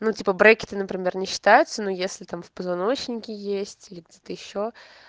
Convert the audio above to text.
ну типа брекеты например не считаются но если там в позвоночнике есть или где-то ещё